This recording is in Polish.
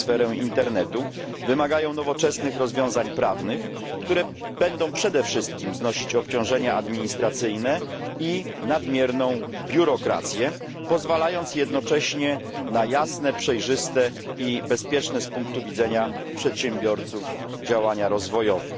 na sferę internetu, wymagają nowoczesnych rozwiązań prawnych, które będą przede wszystkim znosić obciążenia administracyjne i nadmierną biurokrację, pozwalając jednocześnie na jasne, przejrzyste i bezpieczne z punktu widzenia przedsiębiorców działania rozwojowe.